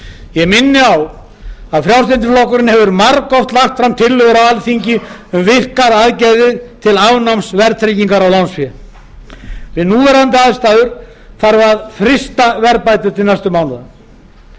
ég minni á að frjálslyndi flokkurinn hefur margoft lagt fram tillögur á alþingi um virkar aðgerðir til afnáms verðtryggingar á lánsfé við núverandi aðstæður þarf að frysta verðbætur til næstu mánaða vel